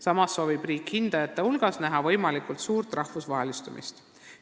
Samas soovib riik hindajate hulgas näha võimalikult suurt "rahvusvahelistumist".